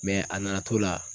a nana to la.